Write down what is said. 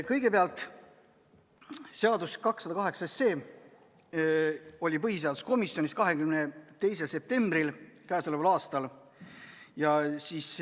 Kõigepealt, seaduseelnõu 208 oli põhiseaduskomisjonis arutelu all k.a 22. septembril.